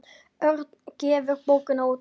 Örn gefur bókina út.